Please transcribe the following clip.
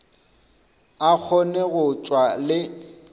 a kgone go tšwa le